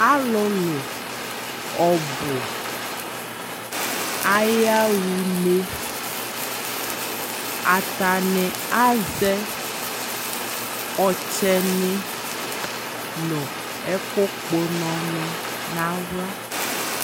alʋlʋ ɔbʋ ayawʋ nɛ, atani azɛ ɔkyɛni nʋ ɛkʋ kpɔ ʋnɔ ni nʋ ala